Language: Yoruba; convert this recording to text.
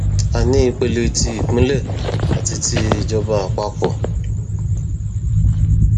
a ní ìpele ti ìpínlẹ àti ti ìjọba àpapọ